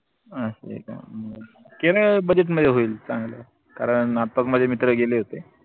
असय का? केरळ मधेच मजा होईल चांगलं कारण आताच माझे मित्र गेले होते